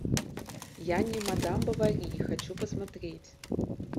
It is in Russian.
я не мадам бовари хочу посмотреть